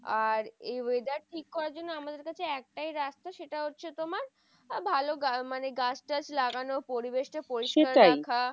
আর এই weather ঠিক করার জন্য আমাদের কাছে একটাই রাস্তা, সেটা হচ্ছে তোমার ভালো মানে গাছ টাছ লাগানো পরিবেশ কে পরিষ্কার রাখা।